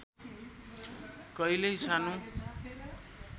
कहिल्यै सानो